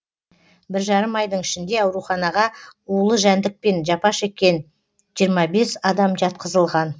бір жарым айдың ішінде ауруханаға улы жәндікпен жапа шеккен жиырма бес адам жатқызылған